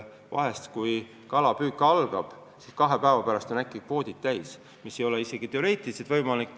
Vahel on nii, et kui ametlik kalapüük algab, siis kahe päeva pärast on äkki kvoodid täis, mis teoreetiliselt ei ole kuidagi võimalik.